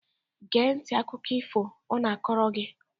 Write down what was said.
Gee ntị n'akụkọ if ọ na-akọrọ gị!